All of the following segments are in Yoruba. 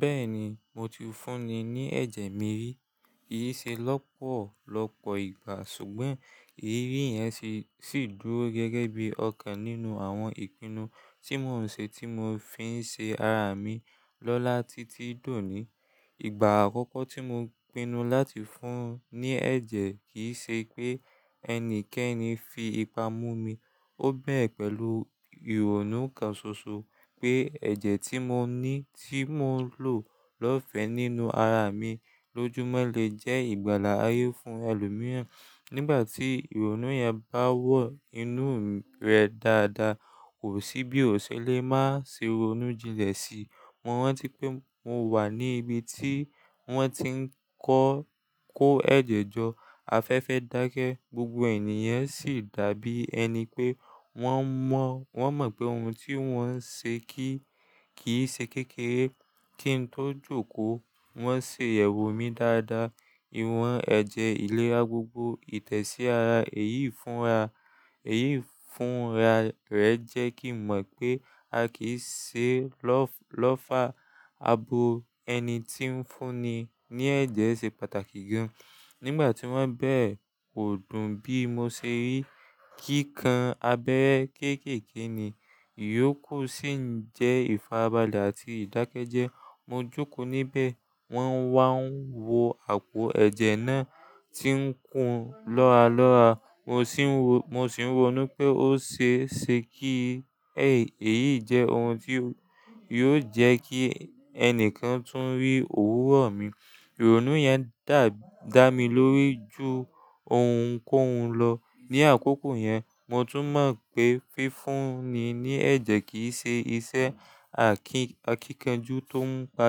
Bẹ́ẹ̀ni, mo ti fún ni ní ẹ̀jẹ̀ mi rí. Èyí ṣe lọ́pọ̀lọpọ̀ ìgbà, ṣùgbọ́n èyí yẹn sì dúró gẹ́gẹ́ bí ọ̀kan nínú àwọn ìpinnu tí mò ń ṣe tí mo fi ń ṣe ara mi lọ́lá títí dòní. Ìgbà àkọ́kọ́ tí mo pinnu láti fún ni ní ẹ̀jẹ̀ kì í ṣe pé ẹni kankan fi ipa mú mi. Ó bẹ̀rẹ̀ pẹ̀lú ìrònú kan ṣoṣo pé ẹ̀jẹ̀ tí mò ń ní, tí mò ń lò lọ́fẹ̀ẹ́ nínú ara mi lójoojúmọ́ lè jẹ́ ìgbàlà ayé fún ẹlòmíràn. Nígbà tí ìrònú yẹn bá wọ inú rẹ̀ dáadáa, kò sí bí ó ṣe lè má ṣe ronú jinlẹ̀ sí i. Mo rántí pé mo wà ní ibi tí wọ́n ti ń kó ẹ̀jẹ̀ jọ. Afẹ́fẹ́ dákẹ́, gbogbo ènìyàn sì dàbí ẹni pé wọ́n mọ̀ pé ohun tí wọ́n ń ṣe kì í ṣe kékeré. Tí ń tó jókòó, wọ́n ṣe èrò mí dáadáa. Iwọ̀n ẹ̀jẹ̀ ìlera gbogbo, ìtẹ̀sí ara, èyí fúnra rẹ̀ jẹ́ kí n mọ̀ pé a kìí ṣe lọ́fà abo ẹni tí ń fún ni ní ẹ̀jẹ̀ ṣe pàtàkì gan. Nígbà tí wọ́n bẹ̀rẹ̀, kò dùn bí mo ṣe rí kíkan abẹ́ kéékèèké ni. Iyòkù sì ń jẹ́ ìfarabalẹ̀ àti ìdákẹ́jẹ́. Mo jókòó níbẹ̀, wọ́n wá ń wọ àpò ẹ̀jẹ̀ náà tí ń kún lọ́ra lọ́ra. Mo sì ń rònú pé ó ṣe é ṣe kí èyí jẹ́ ohun tí yóò jẹ́ kí ẹni kan tún rí òwúrọ̀ mi. Ìrònú yẹn dà mí lórí jù ohunkóhun lọ. Ni àkókò yẹn, mo tún mọ̀ pé fífún ní ẹ̀jẹ̀, kì í ṣe iṣẹ́, akíkanjú tó ń pa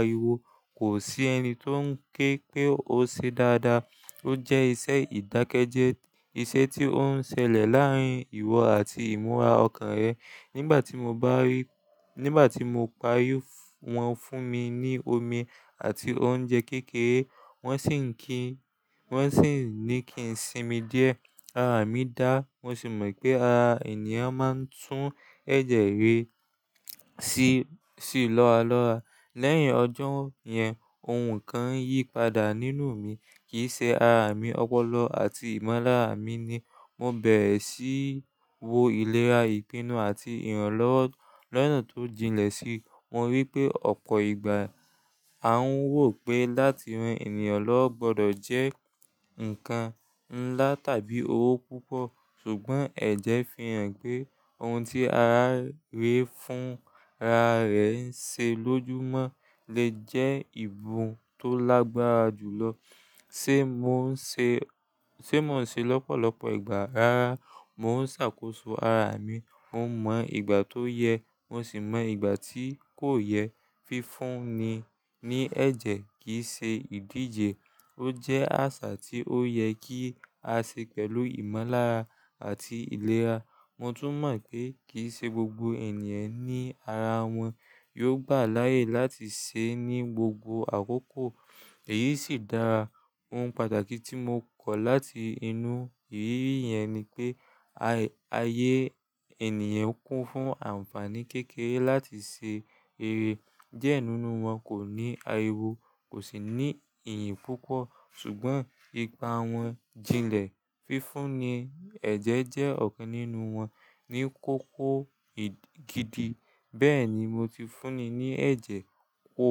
ariwo, kò sí ẹni tó ń ké pé ó ṣe dáadáa. Ó jẹ́ iṣẹ́ ìdákẹ́jẹ́, iṣẹ́ tí ó ń ṣẹlẹ̀ láàárín ìwọ àti ìmúra ọkàn rẹ. Nígbà tí mo parí, wọ́n fún mi ní omi àti oúnjẹ kékeré. Wọ́n sì ní kín sì mi díẹ̀. Ara mi dá, mo sì mọ̀ pé ara ènìyàn máa ń tún ẹ̀jẹ̀ re sí lọ́ra lọ́ra. Lẹ́yìn ọjọ́ yẹn, ohun kan yí padà nínú mi, kì í ṣe ara mi ọpọlọ àti ìmọ́lára mi ni. Mo bẹ̀rẹ̀ sí í wo ìlera, ìpinnu àti ìrànlọ́wọ́ lọ́nà tó jinlẹ̀ sí i. Mo rí pé ọ̀pọ̀ ìgbà a ń wò pé láti ran ènìyàn lọ gbọdọ̀ jẹ́ nǹkan ńlá tàbí owó púpọ̀. Ṣùgbọ́n ẹ̀jẹ̀ fi hàn pé ohun tí ara rere fúnra rẹ̀ ń ṣe lójoojúmọ́ lè jẹ́ ìbọn tó lágbára jùlọ. Sé mò ń ṣe lọ́pọ̀lọpọ̀ ìgbà, rárá. Mo ń ṣàkóso ara mi, mo mọ ìgbà tó yẹ, mo sì mọ ìgbà tí kò yẹ. Fífún ni ní ẹ̀jẹ̀ kì í ṣe ìdíje, ó jẹ́ àṣà tí ó yẹ kí á ṣe pẹ̀lú ìmọ́lára àti ìlera. Mo tún mọ̀ pé kì í ṣe gbogbo ènìyàn ní ara wọn yóò gbà láàyè láti ṣẹ́ ní gbogbo àkókò, èyí sì dára. Ohun pàtàkì tí mo kọ̀ láti inú iriri yẹn ni pé ayé ènìyàn kún fún àǹfààní kékeré láti ṣe eré. Diẹ nínú wọn kò ní ariwo, kò sì ní ìyìn púpọ̀. Ṣùgbọ́n ipa wọn jinlẹ̀. Fífún ni ẹ̀jẹ̀ jẹ́ ọ̀kan nínú wọn ní kókó gidi. Bẹ́ẹ̀ni, mo ti fún ni ní ẹ̀jẹ̀. Ó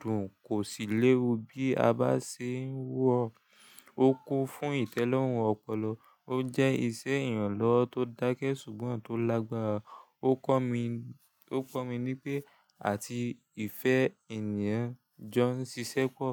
dùn, kò sì léwu bí a bá sì ńi irorun Ó kún fún ìtẹ́lọ́rùn ọpọlọ. Ó jẹ́ ìṣe ìrànlọ́wọ́ tó dákẹ́ ṣùgbọ́n tó lágbára. Ó kọ́ mi ní pé àti ìfẹ́ ènìyàn jọ ń ṣiṣẹ́ pọ̀.